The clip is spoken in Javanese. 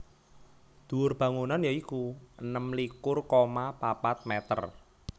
Dhuwur bangunan ya iku enem likur koma papat mèter